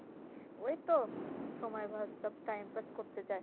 ওইতো সময় pass সব time pass করতে যায়।